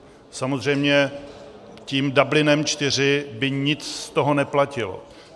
Samozřejmě tím Dublinem IV by nic z toho neplatilo.